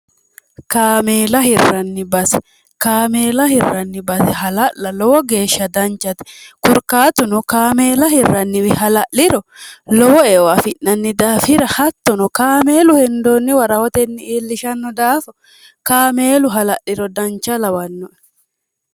kaameela hirranni basi kaameela hirranni basi hala'la lowo geeshsha danchate kurkaatuno kaameela hirranniwi hala'liro lowo eo afi'nanni daafira hattono kaameelu hendoonni wa rahotenni iillishanno daafa kaameelu halalhiro dancha lawannone